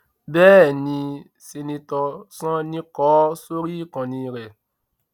bẹẹ ni seneto sanni kọ́ ọ sórí ìkànnì rẹ